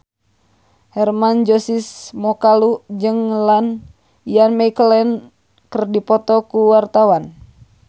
Hermann Josis Mokalu jeung Ian McKellen keur dipoto ku wartawan